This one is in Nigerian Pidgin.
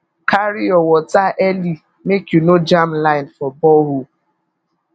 carry your water early make you no jam line for borehole